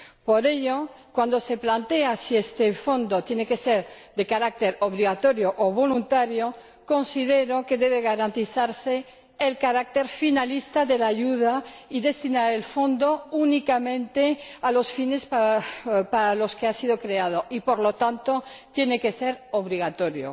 Por ello, cuando se plantea si este Fondo tiene que ser de carácter obligatorio o voluntario considero que debe garantizarse el carácter finalista de la ayuda y destinar el Fondo únicamente a los fines para los que ha sido creado, por lo que tiene que ser obligatorio.